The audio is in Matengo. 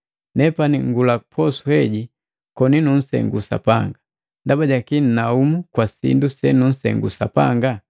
Nepani ngula posu heji koni nunsengu Sapanga, ndaba jakii nnaumu kwa sindu senunsengu Sapanga?”